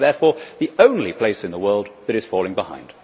We are therefore the only place in the world that is falling behind.